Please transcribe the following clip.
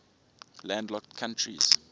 landlocked countries